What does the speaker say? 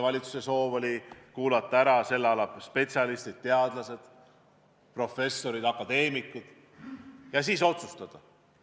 Valitsuse soov oli kuulata ära spetsialistid – teadlased, professorid, akadeemikud – ja siis otsustada.